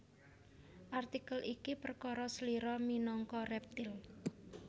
Artikel iki perkara slira minangka rèptil